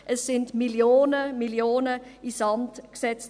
Es wurden Millionen, Millionen in den Sand gesetzt.